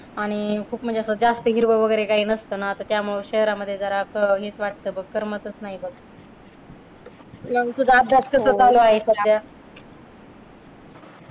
आणि खूप म्हणजे असं जास्त हिरव वगैरे काही नसत ना त्यामुळे शहरांमध्ये जरा हेच वाटतं करमतच नाही बघ. मग तुझा अभ्यास कसा चालू आहे सध्या